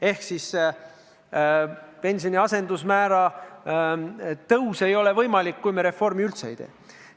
Ehk teisisõnu, pensioni asendusmäära tõus ei ole võimalik ka siis, kui me reformi üldse ei tee.